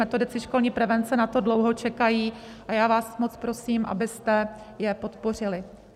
Metodici školní prevence na to dlouho čekají a já vás moc prosím, abyste je podpořili.